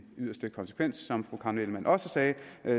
yderste konsekvens som fru karen ellemann også sagde